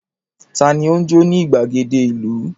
Ta ni ó ń jó ní ìgbàgede ìlú?